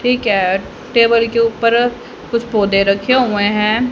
Table के ऊपर कुछ पौधे रखे हुए हैं।